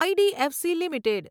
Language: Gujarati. IDFC limited